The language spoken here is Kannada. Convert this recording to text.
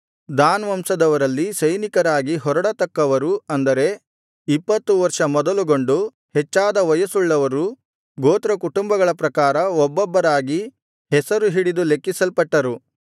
ದಾನ್ ವಂಶದವರಲ್ಲಿ ಸೈನಿಕರಾಗಿ ಹೊರಡತಕ್ಕವರು ಅಂದರೆ ಇಪ್ಪತ್ತು ವರ್ಷ ಮೊದಲುಗೊಂಡು ಹೆಚ್ಚಾದ ವಯಸ್ಸುಳ್ಳವರು ಗೋತ್ರಕುಟುಂಬಗಳ ಪ್ರಕಾರ ಒಬ್ಬೊಬ್ಬರಾಗಿ ಹೆಸರು ಹಿಡಿದು ಲೆಕ್ಕಿಸಲ್ಪಟ್ಟರು